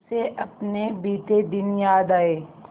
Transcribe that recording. उसे अपने बीते दिन याद आए